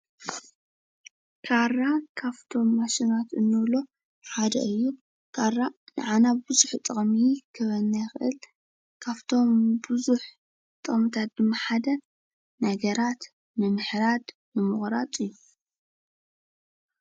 ካራ ካብቶም ማሽናት እንብሎም ሓደ እዩ። ካራ ንዓና ብዙሕ ጥቅሚ ክህበና ይኽእል። ካብቶም ብዙሕ ጥቅምታት ድማ ሓደ ነገራት ንምሕራድ ንምቑራፅ እዩ።